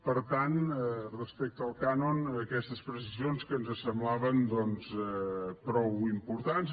per tant respecte al cànon aquestes precisions que ens semblaven doncs prou importants